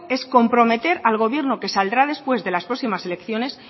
es comprometer al gobierno que saldrá después de las próximas elecciones